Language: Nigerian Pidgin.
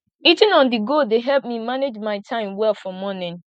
eating onthego dey help me manage my time well for morning